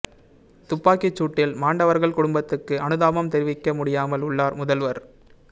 துப்பாக்கிச் சூட்டில் மாண்டவர்கள் குடும்பத்துக்கு அனுதாபம் தெரிவிக்க முடியாமல் உள்ளார் முதல்வர்